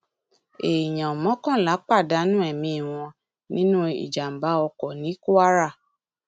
èèyàn mọkànlá pàdánù ẹmí wọn nínú ìjàmbá oko ní kwara